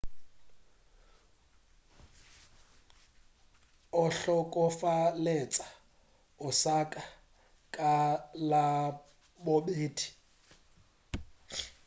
o hlokofaletše osaka ka labobedi